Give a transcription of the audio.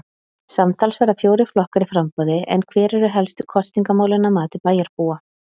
Samtals verða fjórir flokkar í framboði en hver eru helstu kosningamálin að mati bæjarbúa?